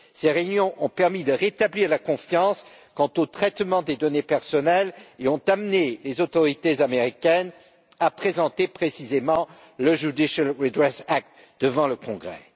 Ces réunions ont permis de rétablir la confiance quant au traitement des données personnelles et ont amené les autorités américaines à présenter précisément le Judicial Redress Act devant le Congrès.